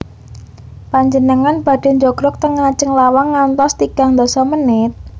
Panjenengan badhe njogrog ten ngajeng lawang ngantos tigang ndasa menit?